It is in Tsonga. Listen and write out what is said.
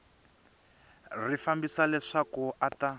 ri fambisa leswaku a ta